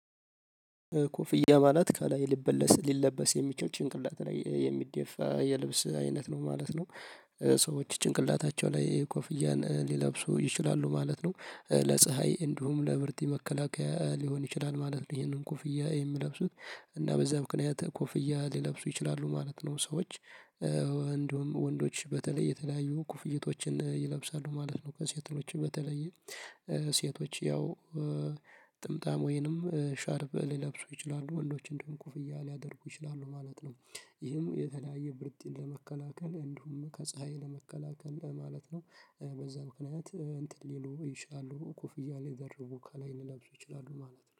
ኮፍያ ማለት ከላይ ሊበለስ ሊለበስ የሚችል ጭንቅላት ላይ የሚደፋ የልብስ አይነት ነው ማለት ነው። ሰዎች ጭንቅላታቸው ላይ ኮፍያን ሊለብሱ ይችላሉ ማለት ነው። ለፀሀይ እንዲሁም ለብርድ መከላከያ ሊሆን ይችላል ማለት ነው። ይሄንን ኮፍያ የሚለብሱት እና በዛ ምክንያት ኮፍያ ሊለብሱ ይችላሉ ማለት ነው። ሰዎች ወንዶች በተለይ የተለያዩ ኩፍይቶችን ይለብሳሉ ማለት ነው። ከሴቶች በተለየ ሴቶች ያው ጥምጣም ወይንም ሻርብ ሊለብሱ ይችላሉ። ወንዶች እንዲሁም ኩፍያ ሊያደርጉ ይችላሉ ማለት ነው። ይህም የተለያየ ብርድን ለመከላከል እንዲሁም ከፀሀይ ለመከላከል ማለት ነው። በዛ ምክንያት እንትን ሊሉ ይችላሉ ኮፍያ ሊደርቡ ከላይ ሊለብሱ ይችላሉ ማለት ነው